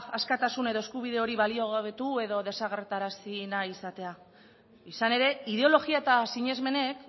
askatasun edo eskubide hori baliogabetu edo desagerrarazi nahi izatea izan ere ideologia eta sinesmenek